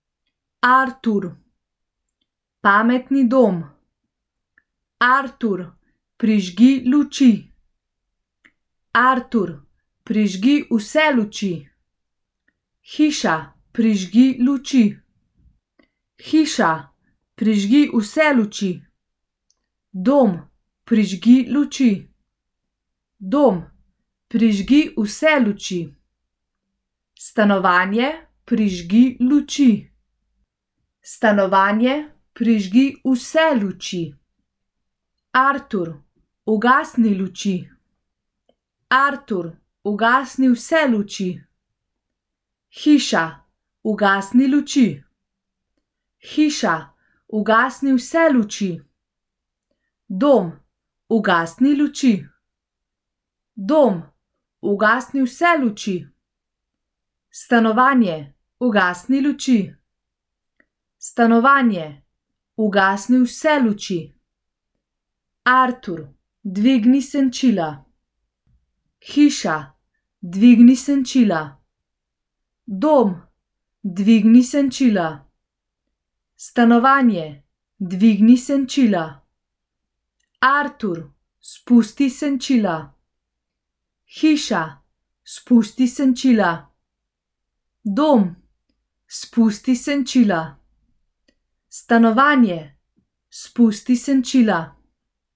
Artur. Pametni dom. Artur, prižgi luči. Artur, prižgi vse luči. Hiša, prižgi luči. Hiša, prižgi vse luči. Dom, prižgi luči. Dom, prižgi vse luči. Stanovanje, prižgi luči. Stanovanje, prižgi vse luči. Artur, ugasni luči. Artur, ugasni vse luči. Hiša, ugasni luči. Hiša, ugasni vse luči. Dom, ugasni luči. Dom, ugasni vse luči. Stanovanje, ugasni luči. Stanovanje, ugasni vse luči. Artur, dvigni senčila. Hiša, dvigni senčila. Dom, dvigni senčila. Stanovanje, dvigni senčila. Artur, spusti senčila. Hiša, spusti senčila. Dom, spusti senčila. Stanovanje, spusti senčila.